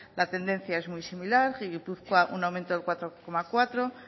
la tendencia es muy similar gipuzkoa un aumento del cuatro coma cuatro